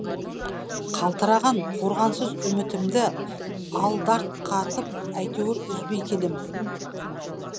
қалтыраған қорғансыз үмітімді алдарқатып әйтеуір үзбей келем